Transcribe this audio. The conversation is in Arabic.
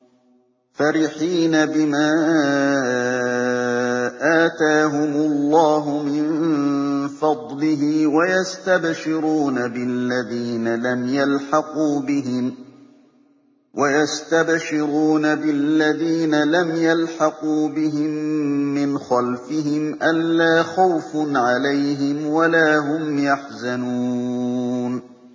فَرِحِينَ بِمَا آتَاهُمُ اللَّهُ مِن فَضْلِهِ وَيَسْتَبْشِرُونَ بِالَّذِينَ لَمْ يَلْحَقُوا بِهِم مِّنْ خَلْفِهِمْ أَلَّا خَوْفٌ عَلَيْهِمْ وَلَا هُمْ يَحْزَنُونَ